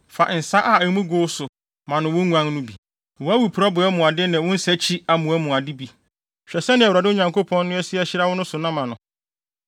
Fa nsa a emu gow so ma no wo nguan no bi, wʼawiporowbea mu ade ne wo nsakyi amoa mu ade bi. Hwɛ sɛnea Awurade, wo Nyankopɔn no, asi ahyira wo no so na ma no.